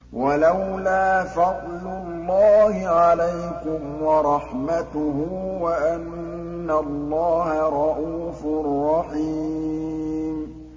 وَلَوْلَا فَضْلُ اللَّهِ عَلَيْكُمْ وَرَحْمَتُهُ وَأَنَّ اللَّهَ رَءُوفٌ رَّحِيمٌ